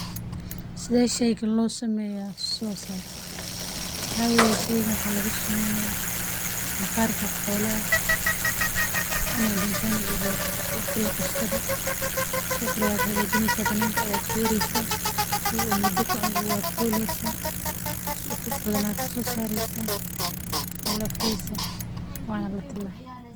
Sidee sheygan loo sameeya u soo saaray waxaa laga sameeya maqarka xolaha marka la qalo.